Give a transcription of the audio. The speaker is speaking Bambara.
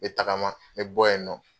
N bɛ tagama n bɛ bɔ yen nɔ